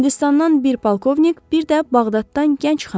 Hindistandan bir polkovnik, bir də Bağdaddan gənc xanım.